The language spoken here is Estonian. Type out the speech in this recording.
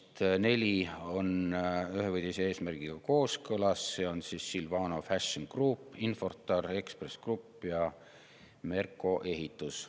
Neist neli on ühe või teise eesmärgiga kooskõlas, need on Silvano Fashion Group, Infortar, Ekspress Grupp ja Merko Ehitus.